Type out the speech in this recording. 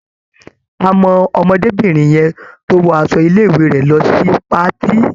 A mọ ọmọdébìnrin yẹn tó wọ aṣọ ilé-ìwé rẹ̀ lọ sí patí.